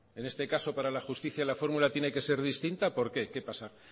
en este caso para la justicia la fórmula tiene que ser distinta por qué qué pasa